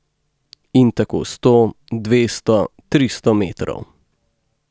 In tako sto, dvesto, tristo metrov.